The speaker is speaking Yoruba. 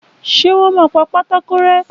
Ṣé wọn pa pátákó rẹ́?